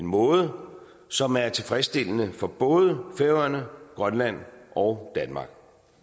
måde som er tilfredsstillende for både færøerne grønland og danmark